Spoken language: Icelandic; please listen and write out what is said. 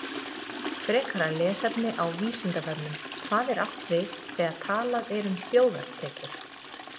Frekara lesefni á Vísindavefnum: Hvað er átt við þegar talað er um vergar þjóðartekjur?